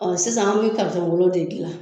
Ɔsisan an bi karitɔn golo de gilan